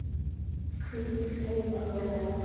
Hvíl í friði félagi.